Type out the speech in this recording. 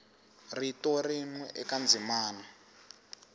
rito rin we eka ndzimana